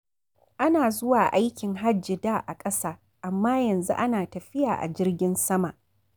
Ana zuwa aikin hajji da a ƙasa, amma yanzu ana tafiya a jirgin sama